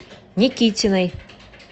никитиной